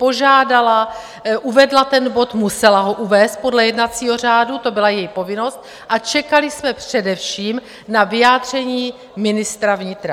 Požádala, uvedla ten bod, musela ho uvést podle jednacího řádu, to byla její povinnost, a čekali jsme především na vyjádření ministra vnitra.